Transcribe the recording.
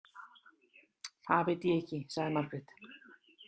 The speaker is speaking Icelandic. Það veit ég ekki, sagði Margrét.